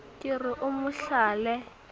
ke re o mo hlale